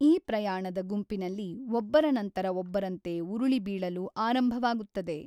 ಈ ಪ್ರಯಾಣದ ಗುಂಪಿನಲ್ಲಿ ಒಬ್ಬರ ನಂತರ ಒಬ್ಬರಂತೆ ಉರುಳಿ ಬೀಳಲು ಆರಂಭವಾಗುತ್ತದೆ.